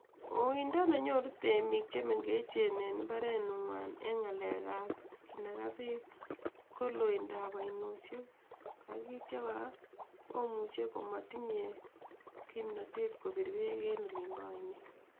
Uindo nenyoru temik chemengechen eng mbarenwa en ng'alekab kinaga beek ko looindab oinosiek ak kora komuche komatinye kimnatet kobiir beek en olin bo oinet.